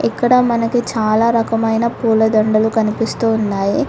ఇక్కడ మనకి చాలా రకమైన పూలదండలు కనిపిస్తూ ఉన్నాయి.